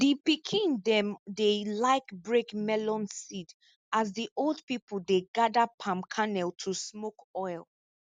di pikin dem dey like break melon seed as di old pipo dey gather palm kernel to smoke oil